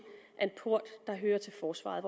port der hører til forsvaret